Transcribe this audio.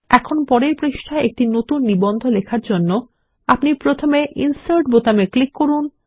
এখন পরের পৃষ্ঠায় একটি নতুন নিবন্ধ লেখার জন্য আপনি প্রথমে ইনসার্ট বোতামে ক্লিক করুন